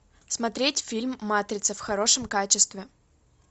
смотреть фильм матрица в хорошем качестве